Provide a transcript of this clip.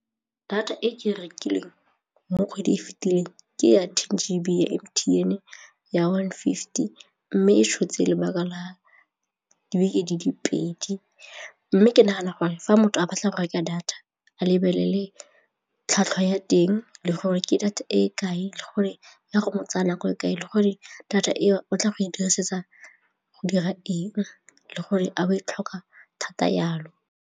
Data e ke rekileng mo kgwedi e fitileng ke ya ten G_B ya M_T_N ya one fifty mme e tshotse lebaka la dibeke di le pedi mme ke nagana gore fa motho a batla go reka data a lebelele tlhwatlhwa ya teng le gore ke data e kae le gore e ya go tsaya nako e kae le gore data e tla go e dirisetsa go dira eng le gore a o e tlhoka thata jalo.